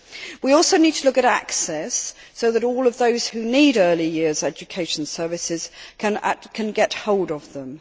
We also need to look at access, so that all of those who need early years education services can get hold of them.